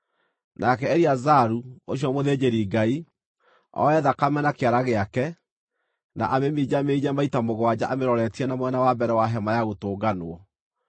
Nake Eleazaru, ũcio mũthĩnjĩri-Ngai, oe thakame na kĩara gĩake, na amĩminjaminje maita mũgwanja amĩroretie na mwena wa mbere wa Hema-ya Gũtũnganwo.